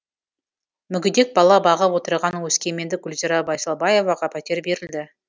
мүгедек бала бағып отырған өскемендік гүлзира байсалбаеваға пәтер берілді